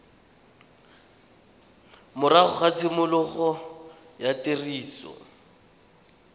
morago ga tshimologo ya tiriso